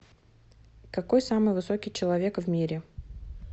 какой самый высокий человек в мире